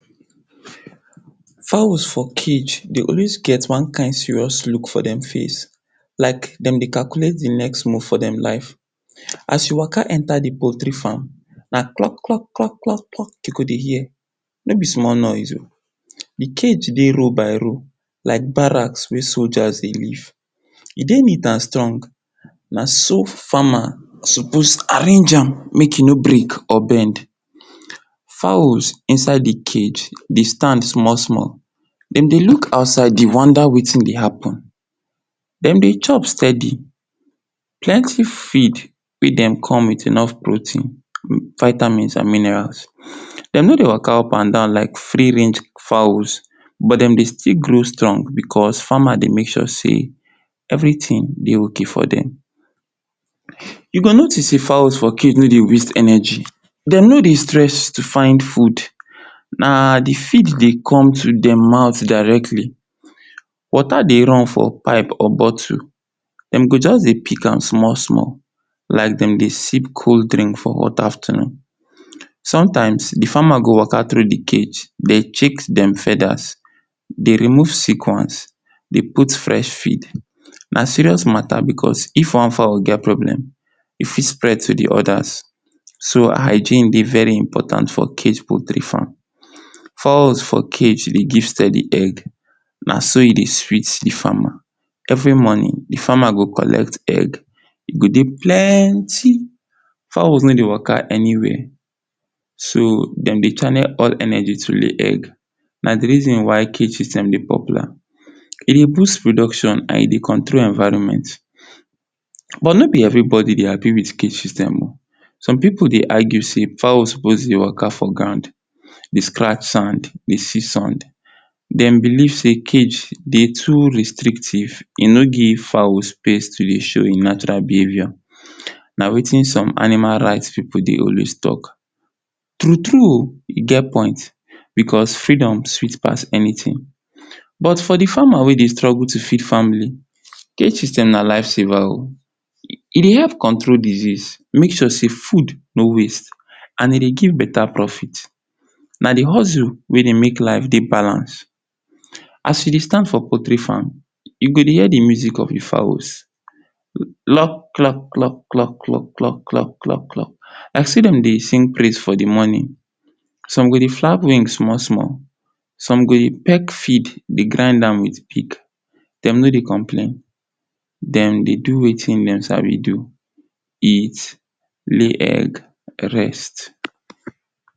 Fowls for cage dey always get one serious luk for dem face, like dem dey calculate di next move for dem life. As you waka enta di potry fam, na krok! Krok! Krok! Krok! You go dey hear, no be small noise o, di cage ey roll by roll like barracks wey soja dey live, e dey neat and strong, na so fama sopos arrange am make e no bend or break, fowls in side si cage dey stand small-small, dem dey luk outside dey wonda wetin dey happen, dem dey chop stedi, plenty feed wey dem come with enof protein, vitamins and minerals. Dem no dey waka up and down like free range fowls but dem still grow strong bicos fama dey make sure sey everi tin dey ok for dem. You go notis sey, fowls for cage no dey waist eneji, no dey stress to find fud, na di feed dey come to dem mouth directly, wota dey run for pipe or botu, dem go just dey pik am small-small like dem dey sip cold drink for hot afternoon. Somtimes di fama go waka through di cage, dey chek dem fedas, dey remove seconds, dey put fresh feed, na serious mata o bicos if one fowl get sick, e fit spread to di odas, so, hygiene dey very impotant for cage potry fam. Fowl for cage dey give stedi eggs, na so e dey sweet di fama so, everi monin, di fama go collect egg. E go dey plenty, fowls no dey waka eni where so, dem dey channels all eneji to di egg. Na di rizin why cages dem dey popular, e dey boats producshon and e dey control environment. But no be everi bodi dey hapi with cage system o. som pipu dey argue sey fowl sopos dey waka for ground, dey scratch sand, dey see sand. Dem belief sey cage dey too restrictive, e no give fowl space to dey show e natural behavior, na wetin som animal right pipu dey always talk. True-true o, e get point. But freedom fit pass enitin. But for di fama wey dey struggle to feed famili. Cage system na life saver o, e dey help control disease, make sure sey fud no waist, e dey give beta profit, na di hozu wey make life dey balance. As you dey stand for potry fam, you go dey hear di muzik of di fowls, klok! Klok! Klok! Klok! Klok! Klok! Like sey dem dey sing praise song in di monin. Som go dey flap wing small-small, som go dey pek feed dey grind am with peak, dem no dey complain, dem dey do wetin dem sabi do. Eat, lay egg, rest.